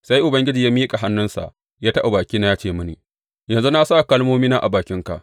Sai Ubangiji ya miƙa hannunsa ya taɓa bakina ya ce mini, Yanzu na sa kalmomina a bakinka.